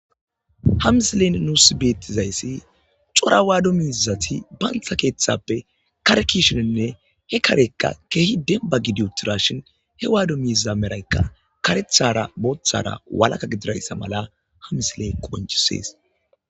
Ha misiley nuus besizayssi cora waddo miizati bantta keeththappe kare ke'ishininne he kareykka keehi dembba gidi uuttidashin he waddo miiza meroykka kareththara booththara walakka gididayssa mala ha misiley qonccises